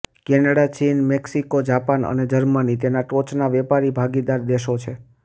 Canada ચીન Mexico Japan અને Germany તેના ટોચના વેપારી ભાગીદાર દેશો છે